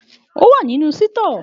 Òwá ninu Sítọ.